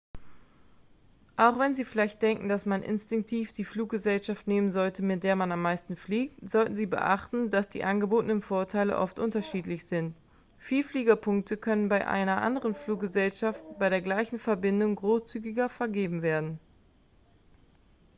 auch wenn sie vielleicht denken dass man instinktiv die fluggesellschaft nehmen sollte mit der man am meisten fliegt sollten sie beachten dass die angebotenen vorteile oft unterschiedlich sind vielfliegerpunkte könnten bei einer anderen fluggesellschaft bei der gleichen verbindung großzügiger vergeben werden